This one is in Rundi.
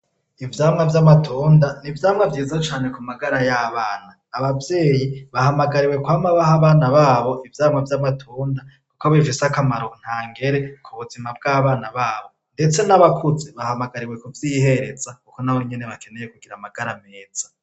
Ivyamwa vy'amatunda ni ivyamwa vyiza cane ku magara y'abana. Abavyeyi bahamagariwe kwama baha abana babo ivyamwa vy'amatunda kuko bifise akamaro ntangere ku buzima bw'abana babo. Ndetse n'abakuze bahamagariwe kuvyihereza kuko nabo bakeneye kugira amagara meza.